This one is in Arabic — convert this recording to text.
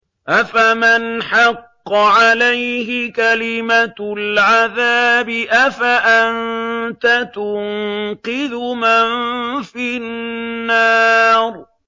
أَفَمَنْ حَقَّ عَلَيْهِ كَلِمَةُ الْعَذَابِ أَفَأَنتَ تُنقِذُ مَن فِي النَّارِ